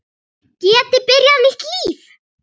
Geti byrjað nýtt líf.